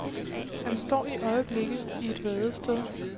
Han står i øjeblikket i et vadested.